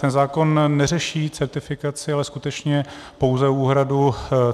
Ten zákon neřeší certifikaci, ale skutečně pouze úhradu.